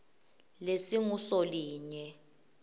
lesingusolinye